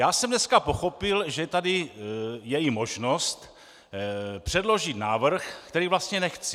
Já jsem dneska pochopil, že tady je i možnost předložit návrh, který vlastně nechci.